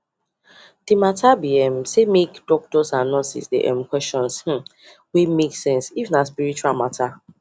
the matter be um say make doctor and nurses dey um ask question wey make sense if nah spiritual matter